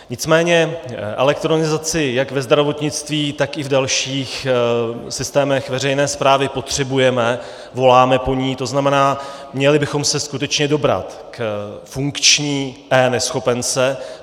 Nicméně elektronizaci jak ve zdravotnictví, tak i v dalších systémech veřejné správy potřebujeme, voláme po ní, to znamená, měli bychom se skutečně dobrat k funkční eNeschopence.